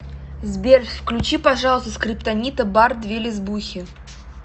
сбер включи пожалуйста скриптонита бар две лесбухи